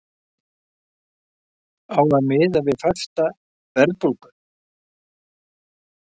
Á að miða við fasta verðbólgu?